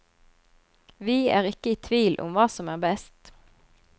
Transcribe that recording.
Vi er ikke i tvil om hva som er best.